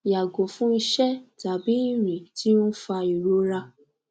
yago fun ise tabi irin ti o n fa irora